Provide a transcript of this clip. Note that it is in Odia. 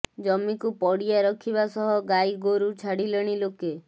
ଜମିକୁ ପଡ଼ିଆ ରଖିବା ସହ ଗାଈ ଗୋରୁ ଛାଡ଼ିଲେଣି ଲୋକେ